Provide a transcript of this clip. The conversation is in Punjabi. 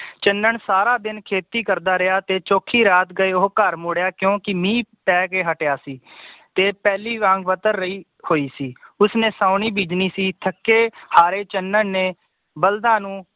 ਚੰਨਨ ਸਾਰਾ ਦਿਨ ਖੇਤੀ ਕਰਦਾ ਰਿਹਾ ਤੇ ਚੋਖੀ ਰਾਤ ਗਏ ਉਹ ਘਰ ਮੁਦਿਆਂ ਕਿਓਂਕਿ ਮੀਹ ਪੈ ਕੇ ਹਟਿਆ ਸੀ ਤੇ ਪਹਿਲੀ ਵਾਂਗ ਵਤਰ ਰਹੀ ਹੋਈ ਸੀ ਉਸਨੇ ਸਾਉਣੀ ਬੀਜਨੀ ਸੇ ਥੱਕੇ ਹਾਰੇ ਚੰਨਨ ਨੇ ਬਲਦਾਂ ਨੂੰ